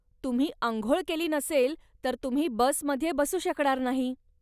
तुम्ही अंघोळ केली नसेल, तर तुम्ही बसमध्ये बसू शकणार नाही.